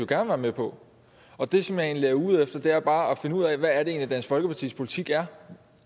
gerne være med på og det som jeg egentlig er ude efter er bare at finde ud af hvad det egentlig er dansk folkepartis politik er